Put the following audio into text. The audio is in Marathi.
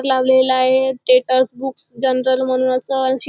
लावलेलं आहे टेटर्स बुक्स जनरल म्हणून अस अन शे --